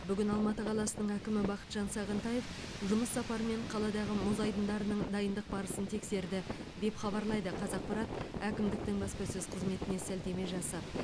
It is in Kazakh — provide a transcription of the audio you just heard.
бүгін алматы қаласының әкімі бақытжан сағынтаев жұмыс сапарымен қаладағы мұз айдындарының дайындық барысын тексерді деп хабарлайды қазақпарат әкімдіктің баспасөз қызметіне сілтеме жасап